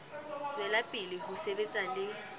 tswela pele ho sebetsa le